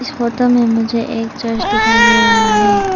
इस फोटो में मुझे एक चर्च दिखाई दे रहा है।